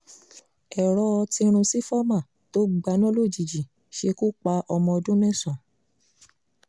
èrò tìrúnsifọ́mà tó gbaná lójijì ṣekú pa ọmọ ọdún mẹ́sàn